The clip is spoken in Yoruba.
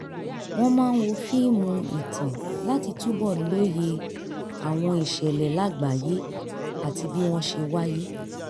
wọ́n máa ń wo fíìmù ìtàn láti túbọ̀ lóye àwọn ìṣẹ̀lẹ̀ lágbàáyé àti bí wọ́n ṣe wáyé